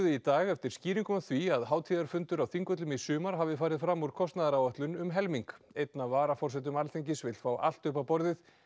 í dag eftir skýringum á því að hátíðarfundur á Þingvöllum í sumar hafi farið fram úr kostnaðaráætlun um helming einn af varaforsetum Alþingis vill fá allt upp á borðið